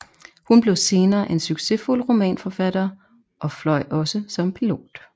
Hun blev senere en succesfuld romanforfatter og og fløj også som pilot